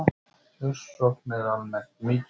Kjörsókn er almennt mikil